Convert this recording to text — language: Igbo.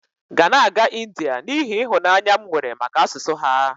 ga na-aga India n'ihi ịhụnanya m nwere maka asụsụ ha